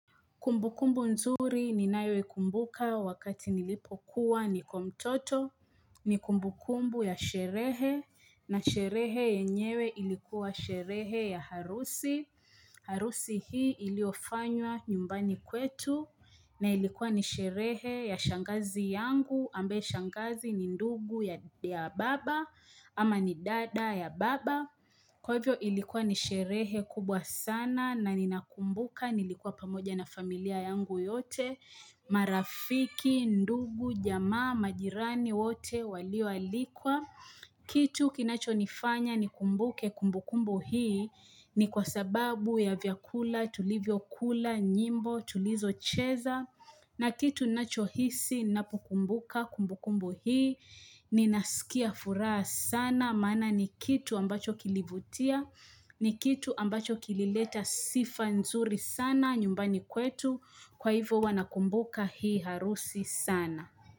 Kumbukumbu nzuri ni nayo ikumbuka wakati nilipokuwa niko mtoto. Ni kumbukumbu ya sherehe na sherehe yenyewe ilikuwa sherehe ya harusi. Harusi hii iliofanywa nyumbani kwetu na ilikuwa ni sherehe ya shangazi yangu ambaye shangazi ni ndugu ya baba ama ni dada ya baba. Kwa hivyo ilikuwa ni sherehe kubwa sana na ninakumbuka nilikuwa pamoja na familia yangu yote marafiki, ndugu, jamaa, majirani wote walioalikwa Kitu kinacho nifanya ni kumbuke kumbukumbu hii ni kwa sababu ya vyakula, tulivyokula, nyimbo, tulizocheza na kitu ninacho hisi na pukumbuka, kumbukumbu hii, ninasikia furaha sana, maana ni kitu ambacho kilivutia, ni kitu ambacho kilileta sifa nzuri sana nyumbani kwetu, kwa hivyo huwa nakumbuka hii harusi sana.